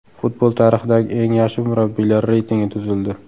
Futbol tarixidagi eng yaxshi murabbiylar reytingi tuzildi.